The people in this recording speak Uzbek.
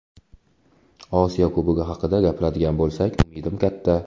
Osiyo Kubogi haqida gapiradigan bo‘lsak umidim katta.